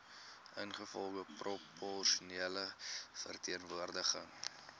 ingevolge proporsionele verteenwoordiging